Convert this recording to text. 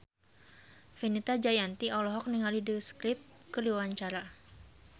Fenita Jayanti olohok ningali The Script keur diwawancara